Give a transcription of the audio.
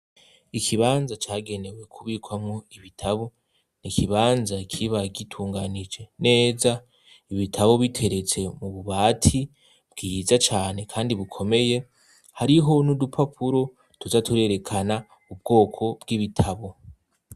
Ikibanza cagenewe kubikwamwo ibitabo. N'ikibanza kiba gitunganije neza. Ibitabo biteretse mu bubati bwiza cane kandi bukomeye. Hariho n'udupapuro tuza turerekana ubwoko bw'ibitabo.